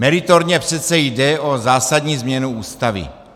Meritorně přece jde o zásadní změnu Ústavy.